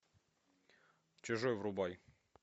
чужой врубай